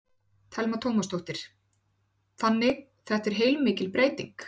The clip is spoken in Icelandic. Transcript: Telma Tómasdóttir: Þannig þetta er heilmikil breyting?